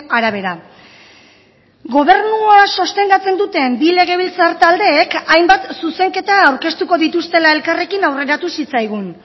arabera gobernua sostengatzen duten bi legebiltzar taldeek hainbat zuzenketa aurkeztuko dituztela elkarrekin aurreratu zitzaigun